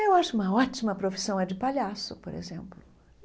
Eu acho uma ótima profissão a de palhaço, por exemplo.